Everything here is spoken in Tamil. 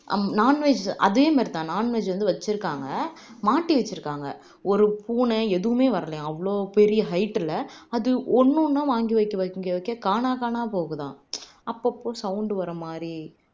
அம் non-veg அதே மாதிரி தான் non-veg வந்து வச்சுருக்காங்க மாட்டி வச்சுருக்காங்க ஒரு பூனை எதுவுமே வரலையாம் அவ்ளோ பெரிய height ல அது ஒண்ணு ஒண்ணா வாங்கி வைக்க வைக்க வைக்க காணா காணா போகுதாம் அப்பப்போ sound வர்ற மாதிரி